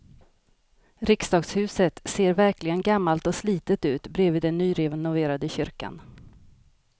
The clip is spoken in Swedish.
Riksdagshuset ser verkligen gammalt och slitet ut bredvid den nyrenoverade kyrkan.